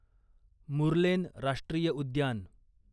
मुर्लेन राष्ट्रीय उद्यान